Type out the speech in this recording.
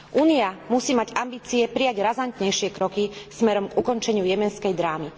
Únia musí mať ambície prijať razantnejšie kroky smerom k ukončeniu jemenskej drámy.